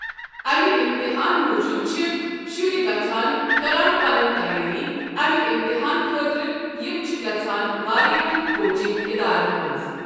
امہِ امتِحان موٗجوٗب چھ شرۍ گژھان کران پنٕنۍ تیٲری امہِ امتِحان خٲطرٕ یِم چھِ گژھان واریاہن کوچنگ ادارن منٛز۔